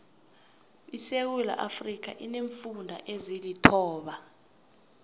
isewuula iafrika ineemfunda ezilithoba